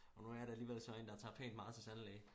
Og nu jeg da alligevel sådan en der tager pænt meget til tandlæge